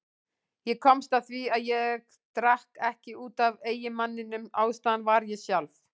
Ég komst að því að ég drakk ekki út af eiginmanninum, ástæðan var ég sjálf.